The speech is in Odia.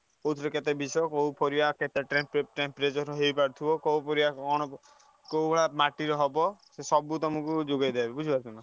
କୋଉଥିରେ କେତେ ବିଷ କୋଉ ପରିବା କୋଉ ପରିବା କଣ କୋଉଭଳିଆ ମାଟିରେ ହବ ସେ ସବୁ ତମକୁ ଯୋଗେଇଦେବେ ବୁଝିପାରୁଛ।